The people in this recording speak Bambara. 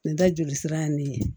Nin da joli sira ye nin ye